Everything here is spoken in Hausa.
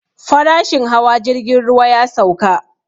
Farashin hawa jirgin ruwa ya sauka